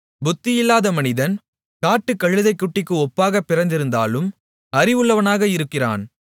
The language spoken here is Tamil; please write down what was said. புத்தியில்லாத மனிதன் காட்டுக்கழுதைக்குட்டிக்கு ஒப்பாகப் பிறந்திருந்தாலும் அறிவுள்ளவனாக இருக்கிறான்